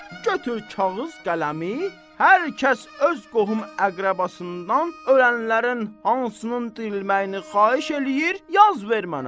Götür kağız qələmi, hər kəs öz qohum əqrəbasından ölənlərin hansının dirilməyini xahiş eləyir, yaz ver mənə.